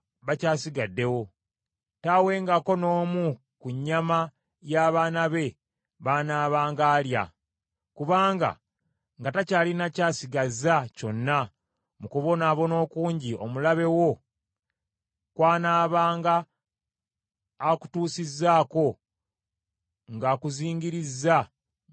taawengako n’omu ku nnyama y’abaana be b’anaabanga alya. Kubanga nga takyalina ky’asigazza kyonna mu kubonaabona okungi omulabe wo kw’anaabanga akutuusizzaako ng’akuzingirizza mu bibuga byo byonna.